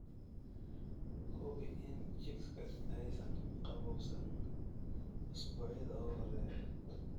Hubi in chicks-ka aysan qabowsan usbuucyada ugu horreeya.